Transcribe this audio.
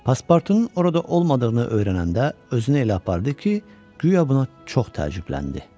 Pasportunun orada olmadığını öyrənəndə özünü elə apardı ki, guya buna çox təəccübləndi.